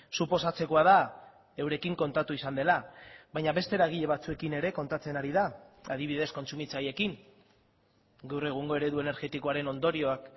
suposatzekoa da eurekin kontatu izan dela baina beste eragile batzuekin ere kontatzen ari da adibidez kontsumitzaileekin gaur egungo eredu energetikoaren ondorioak